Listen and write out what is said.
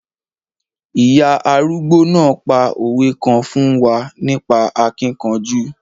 Ìya arúgbó náà pa òwe kan fún wa nípa akíkanjú.